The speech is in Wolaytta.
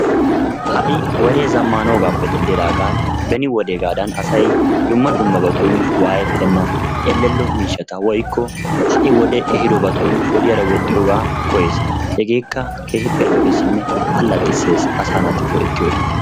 Ha'i wodee zammanoogaappe denddidaagan beni wodeegaadan asay dumma dummabatun waayettenna. ellello miishshata woyikko ha'i wodee ehidobatun wodiyaara woxxiyoogaa koyyees. Hegeekka keehippe lo'ees.